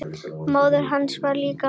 Móðir hans skrifar líka.